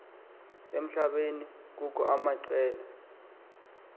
emhlabeni kukho amaqela